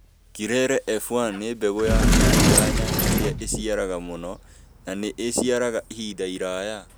Kirere F1 nĩ mbegu ya kĩĩrĩu ya nyanya ĩria ĩciaraga mũno na nĩ ĩciaraga ihinda iraya.